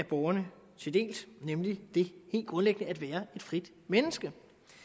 borgerne til del nemlig det helt grundlæggende at være et frit menneske